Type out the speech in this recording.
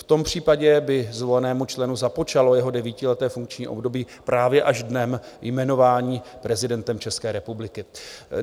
V tom případě by zvolenému členu započalo jeho devítileté funkční období právě až dnem jmenování prezidentem České republiky.